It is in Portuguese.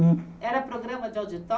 Hum Era programa de